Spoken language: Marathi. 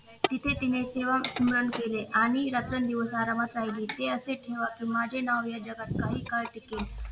तिथे तिने सेवा स्मरण केले आणि रात्रंदिवस आरामात राहिली ते असे की माझे नाव या जगात काही काळ टिकेल